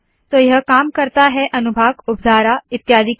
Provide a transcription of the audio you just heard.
तो यह काम करता है अनुभाग उपधारा इत्यादि के लिए